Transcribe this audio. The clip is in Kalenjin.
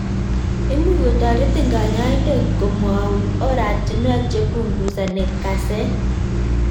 Imuch kotaritin kanyaiodet komwaun oratunwek chepunguzani kaset